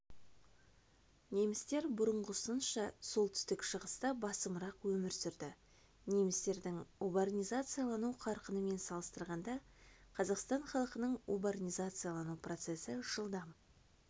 немістер бұрынғысынша солтүстік шығыста басымырақ өмір сүрді немістердің урбанизациялану қарқынымен салыстырғанда қазақстан халқының урбанизациялану процесі жылдам